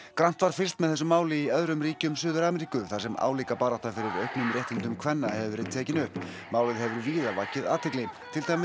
grannt var fylgst með þessu máli í öðrum ríkjum Suður Ameríku þar sem álíka barátta fyrir auknum réttindum kvenna hefur verið tekin upp málið hefur víða vakið athygli til dæmis